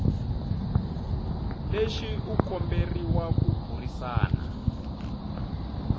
lexi u komberiwa ku burisana